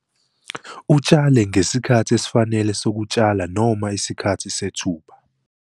Utshale ngesikhathi esifanele sokutshala noma isikhathi sethuba.